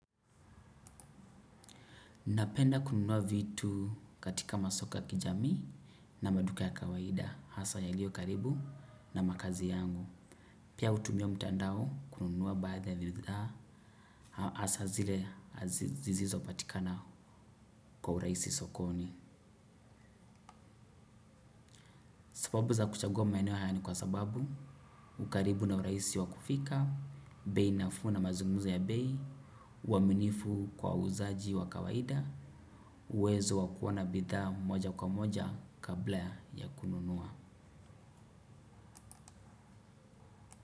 Napenda kununua vitu katika masoko ya kijami na maduka ya kawaida, hasa yaliyo karibu na makazi yangu. Pia hutumia mtandao kununua baadhi ya bidhaa, hasa zile zisizo patikana kwa urahisi sokoni. Sababu za kuchagua maeneo haya ni kwa sababu, ukaribu na urahisi wa kufika, bei nafuu na mazungumzo ya bei, uaminifu kwa wauzaji wa kawaida, uwezo wa kuona bidhaa moja kwa moja kabla ya kununua.